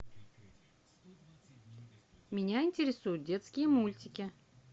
меня интересуют детские мультики